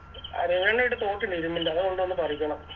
ആ റെയ്വൻറെ വീട്ടിൽ തോക്കില്ലെ ഇരുമ്പിൻറെ അത് കൊണ്ടോന്ന് തോരക്കണം